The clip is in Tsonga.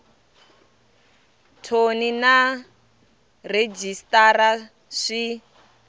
thoni na rhejisitara sw i